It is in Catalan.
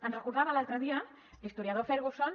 ens recordava l’altre dia l’historiador ferguson